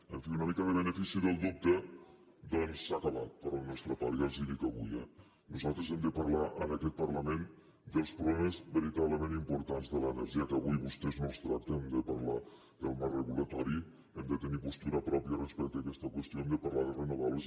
en fi una mica de benefici del dubte doncs s’ha acabat per la nostra part ja els ho dic avui eh nosaltres hem de parlar en aquest parlament dels problemes veritablement importants de l’energia que avui vostès no els tracten hem de parlar del marc regulador hem de tenir postura pròpia respecte a aquesta qüestió hem de parlar de renovables